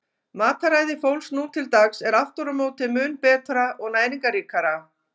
Mataræði fólks nú til dags er aftur á móti mun betra og næringarríkara.